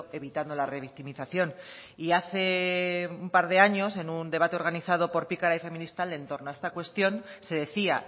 evitando la revictimización y hace un par de años en un debate organizado por pikara y feministalde en torno a esta cuestión se decía